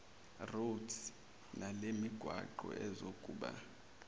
roads nalemigwaqo izokuba